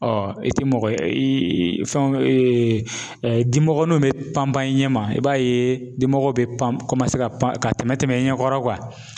i tɛ mɔgɔ ye, i fɛn dimɔgɔniw bɛ pan pan i ɲɛma i b'a ye dimɔgɔ bɛ pan ka pan ka tɛmɛ tɛmɛ i ɲɛkɔrɔ